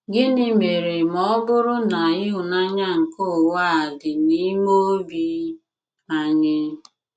Gịnị mere ma ọ bụrụ na ịhụnanya nke ụwa a dị n'ime obi anyị?